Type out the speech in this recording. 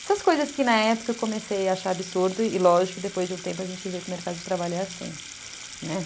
Essas coisas que na época eu comecei a achar absurdo e lógico que depois de um tempo a gente vê que o mercado de trabalho é assim, né?